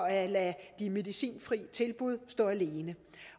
at lade de medicinfri tilbud stå alene